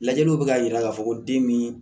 Lajɛliw bɛ k'a jira k'a fɔ ko den min